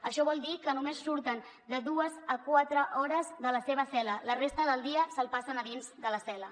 això vol dir que només surten de dues a quatre hores de la seva cel·la la resta del dia se’l passen a dins de la cel·la